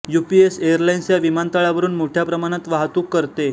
UPS airlines या विमानतळावरून मोठ्या प्रमाणात वाहतूक करते